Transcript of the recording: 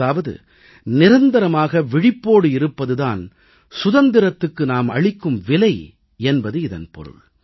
அதாவது நிரந்தரமாக விழிப்போடு இருப்பது தான் சுதந்திரத்துக்கு நாம் அளிக்கும் விலை என்பது இதன் பொருள்